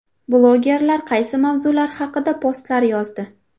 Blogerlar qaysi mavzular haqida postlar yozdi?